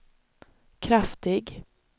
kraftig